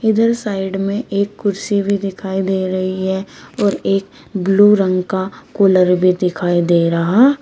इधर साइड में एक कुर्सी भी दिखाई दे रही है और एक ब्लू रंग का कूलर भी दिखाई दे रहा--